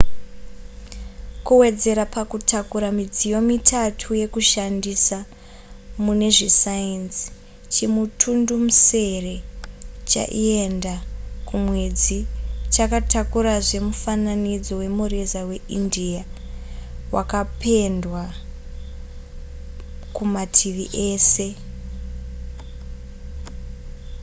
kuwedzera pakutakura midziyo mitatu yekushandisa mune zvesayenzi chimutundumusere chaienda kumwedzi chakatakurazve mufananidzo wemureza weindia wakapendwa kumativi ese